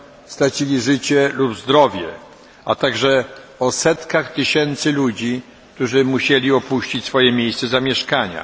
stracili zdrowie lub nawet życie, a także setki tysięcy ludzi, którzy musieli opuścić swoje miejsce zamieszkania.